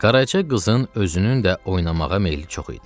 Qaraca qızın özünün də oynamağa meyili çox idi.